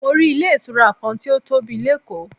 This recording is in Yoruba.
Mo rí ilé ìtura kan tí ó tóbi lékòó.